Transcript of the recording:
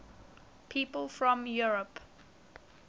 people from eure